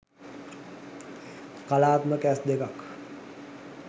කලාත්මක ඇස් දෙකක්